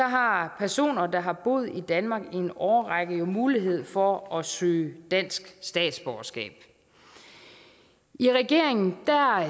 har personer der har boet i danmark i en årrække jo mulighed for at søge dansk statsborgerskab i regeringen